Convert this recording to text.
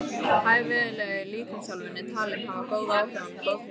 Hæfileg líkamsþjálfun er talin hafa góð áhrif á blóðþrýsting.